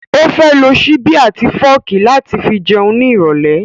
Ó fẹ́ lo ṣíbí àti fọ́ọ̀kì láti fi jẹun ní ìrọ̀lẹ́